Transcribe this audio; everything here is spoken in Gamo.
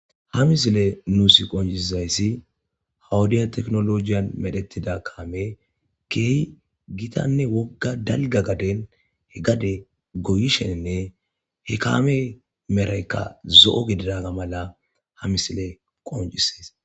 ha misile nuus qonciizayssi hawudiya teknolojiyan medhetida kaame keehi gitanne wogga dalga gaden he gade goyishenne he kaame meraykka zo7o gididaga mala ha misile qoncisays